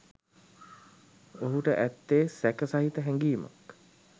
ඔහුට ඇත්තේ සැක සහිත හැඟීමක්.